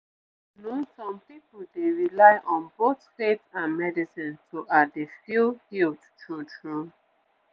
you know some pipu dey rely on both faith and medicine to ah dey feel healed true true